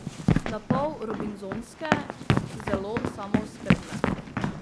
Napol robinzonske, zelo samooskrbne.